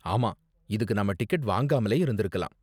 ஆமா, இதுக்கு நாம டிக்கெட் வாங்காமலே இருந்திருக்கலாம்.